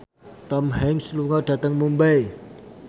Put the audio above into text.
Tom Hanks lunga dhateng Mumbai